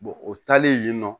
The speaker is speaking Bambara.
o taalen yen nɔ